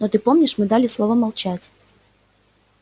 но ты помнишь мы дали слово молчать